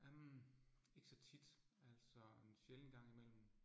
Øh ikke så tit altså en sjælden gang imellem